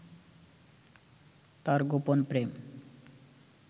তার গোপন প্রেম